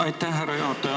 Aitäh, härra juhataja!